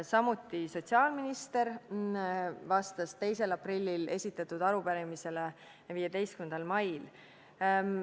Samuti vastas sotsiaalminister 2. aprillil esitatud arupärimisele 15. mail.